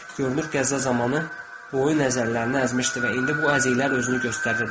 Görünür gəzə zamanı boynu əzmişdi və indi bu əziklər özünü göstərirdi.